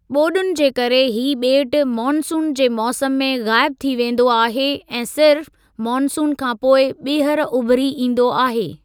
ॿोडुनि जे करे ही ॿेट मानसून जे मौसमु में ग़ाइब थी वेंदो आहे ऐं सिर्फ़ मानसून खां पोइ ॿीहर उभिरी ईंदो आहे।